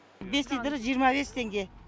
бес литрі жиырма бес теңге